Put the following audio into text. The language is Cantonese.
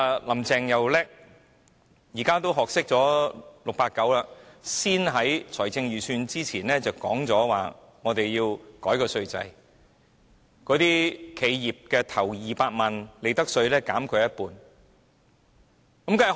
"林鄭"很聰明，懂得像 "689" 般在公布財政預算案之前提出改革稅制，將企業首200萬元的利得稅率減半。